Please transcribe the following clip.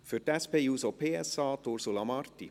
Für die SP-JUSO-PSA-Fraktion, Ursula Marti.